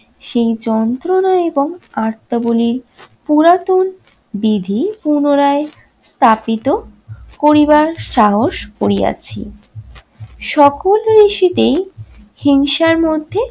সেই যন্ত্রণা এবং আত্নাবলী পুরাতন বিধি পুনরায় চাপিত করিবার সাহস করিয়াছি। সকল ঋষিতেই হিংসার মধ্যে